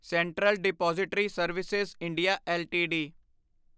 central depository service India LTD